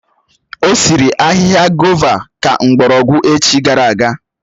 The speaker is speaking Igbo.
Ọ sịrị ahịhịa gòva ka mgbọrọgwụ echi gara aga